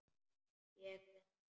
Lék við hana.